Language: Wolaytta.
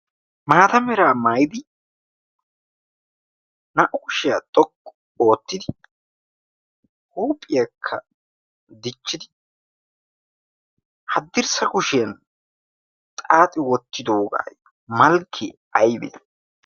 Maata mera maayyidi naa''u kushiyaa xoqqu ootti, huuphiyaakka dichchi woottidi, hadirssa kushiyaan xaaxxi wottidoogayo malke aybbe?